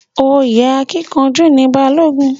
Oyè akínkanjú ni Balógun.